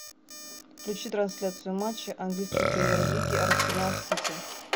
включи трансляцию матча английской премьер лиги арсенал сити